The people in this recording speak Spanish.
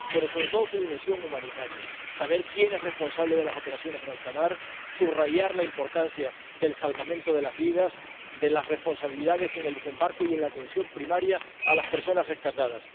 pero, sobre todo, reforzando su dimensión humanitaria, para saber quién es responsable de las operaciones en alta mar, subrayar la importancia del salvamento de las vidas y de las responsabilidades en el desembarco y en la atención primaria a las personas rescatadas.